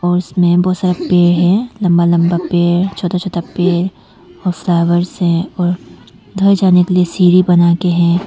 और उसमें बहुत सारा पेड़ हैं लंबा लंबा पेड़ छोटा छोटा पेड़ और फ्लावर्स हैं और घर जाने के लिए सीढ़ी बना के है।